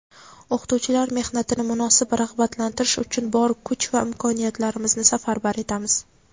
o‘qituvchilar mehnatini munosib rag‘batlantirish uchun bor kuch va imkoniyatlarimizni safarbar etamiz.